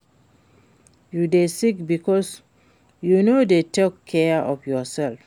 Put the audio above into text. You dey sick because you no dey take care of yourself